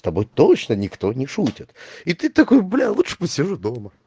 с тобой точно никто не шутит и ты такой бля лучше посижу дома